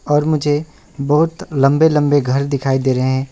और मुझे बहोत लंबे लंबे घर दिखाई दे रहे हैं।